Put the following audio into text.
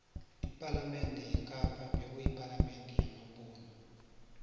ipalamende yekapa bekuyipalamende yamabhuxu